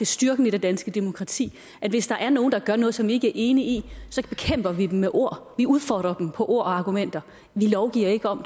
styrken ved det danske demokrati at hvis der er nogen der gør noget som vi ikke er enige i så bekæmper vi dem med ord vi udfordrer dem på ord og argumenter vi lovgiver ikke om